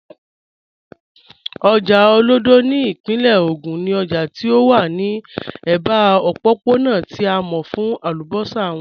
Ojá Olódo ni ipinle Ogun ni òjá tí ó wà ni ẹba ọ̀pọ̀pọ̀na tí a mọ̀ fún àlúbọ́ṣà wọn.